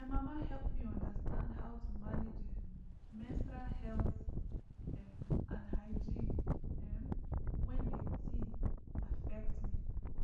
my mama help me understand how to manage um menstrual health um and hygiene um when the thing affect me